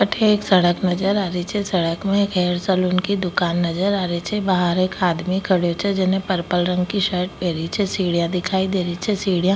अठे एक सड़क नजर आ री छे सड़क में एक हेयर सलून की दुकान नजर आ री छे बाहर एक आदमी खड़ेओ छे जेने पर्पल रंग की शर्ट पहेरी छे सीढियाँ दिखाई देरी छे सीढिया --